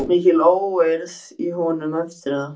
Það var svo mikil óeirð í honum eftir að